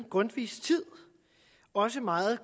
grundtvigs tid og også meget